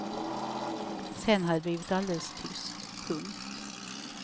Sen hade det blivit alldeles tyst. punkt